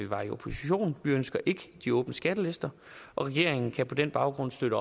var i opposition vi ønsker ikke de åbne skattelister og regeringen kan på den baggrund støtte